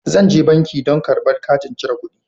Zan je banki don karba katin cire kuɗi.